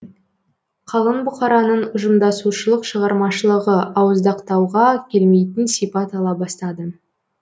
қалың бұқараның ұжымдасушылық шығармашылығы ауыздықтауға келмейтін сипат ала бастады